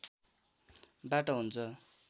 बाट हुन्छ